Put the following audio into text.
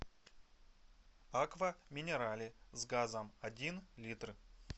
аква минерале с газом один литр